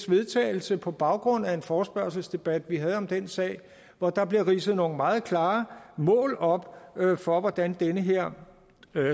vedtagelse på baggrund af en forespørgselsdebat vi havde om den sag hvor der bliver ridset nogle meget klare mål op for hvordan den her